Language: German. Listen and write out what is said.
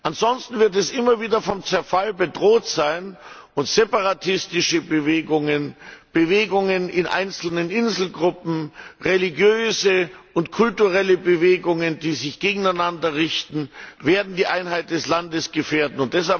Ansonsten wird es immer wieder von Zerfall bedroht sein, und separatistische Bewegungen, Bewegungen in einzelnen Inselgruppen, religiöse und kulturelle Bewegungen, die sich gegeneinander richten, werden die Einheit des Landes gefährden.